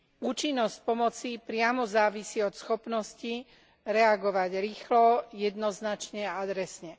Účinnosť pomoci priamo závisí od schopnosti reagovať rýchlo, jednoznačne a adresne.